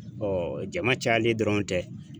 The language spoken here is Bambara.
jama cayalen dɔrɔn tɛ.